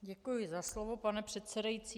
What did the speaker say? Děkuji za slovo, pane předsedající.